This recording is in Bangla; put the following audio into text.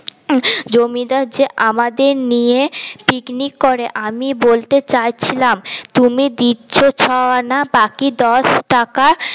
জমিদার যে আমাদের নিয়ে পিকনিক করে আমি বলতে ্চাচ্ছিলাম তুমি দিচ্ছ ছ আনা বাকি দশ টাকা